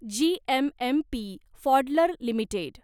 GMMP Pfaudler limited